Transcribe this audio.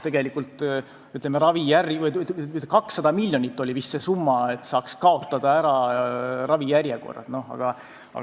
200 miljonit oli vist see summa, millega saaks kaotada ära ravijärjekorrad.